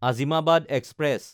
Azimabad express